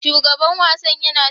Shugaban wasan yana shirya wasanni.